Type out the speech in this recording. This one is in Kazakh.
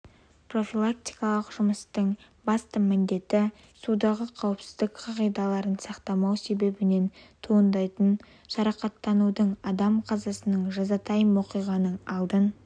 профилактикалық жұмыстың басты міндеті судағы қауіпсіздік қағидаларын сақтамау себебінен туындайтын жарақаттанудың адам қазасының жазатайым оқиғаның алдын